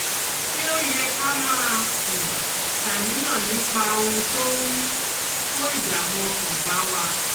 Ṣé ó ó yẹ ká máa um ṣàníyàn nípa ohun tó ń um kó ìdààmú ọkàn bá wa?